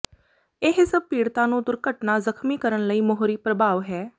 ਇਹ ਸਭ ਪੀੜਤਾ ਨੂੰ ਦੁਰਘਟਨਾ ਜ਼ਖ਼ਮੀ ਕਰਨ ਲਈ ਮੋਹਰੀ ਪਰ੍ਭਾਵ ਹੈ